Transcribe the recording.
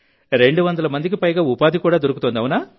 రెండు వందల మందికి పైగా ఉపాధి దొరుకుతోంది